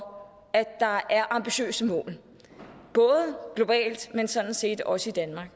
at der er ambitiøse mål både globalt men sådan set også i danmark